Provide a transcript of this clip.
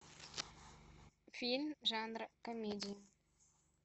фильм жанра комедия